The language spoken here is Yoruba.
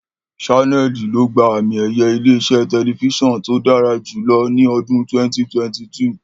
Ṣánẹ́ẹ̀lì ló gba àmi-ẹ̀yẹ ilé-iṣẹ́ tẹlifíṣàn tí ó dára jùlọ ní ọdún 2022.